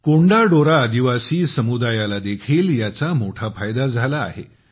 कोंडा डोरा आदिवासी समुदायाला देखील याचा मोठा फायदा झाला आहे